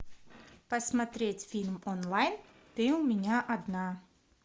посмотреть фильм онлайн ты у меня одна